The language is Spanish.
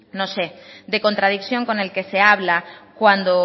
de contradicción con el que se habla cuando